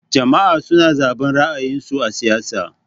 Jama'a suna zaben ra'ayin su a siyasa.